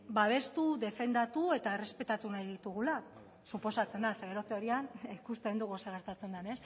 babestu defendatu eta errespetatu nahi ditugula suposatzen da ze gero teorian ikusten dugu zer gertatzen den